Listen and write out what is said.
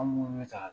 An munnu bɛ taa